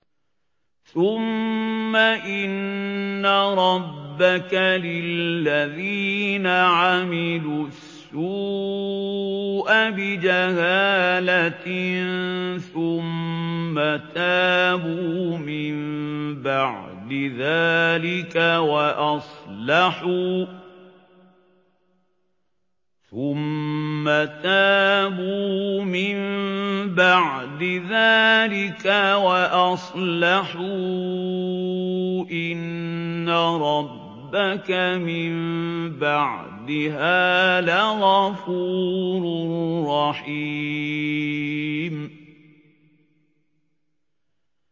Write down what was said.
ثُمَّ إِنَّ رَبَّكَ لِلَّذِينَ عَمِلُوا السُّوءَ بِجَهَالَةٍ ثُمَّ تَابُوا مِن بَعْدِ ذَٰلِكَ وَأَصْلَحُوا إِنَّ رَبَّكَ مِن بَعْدِهَا لَغَفُورٌ رَّحِيمٌ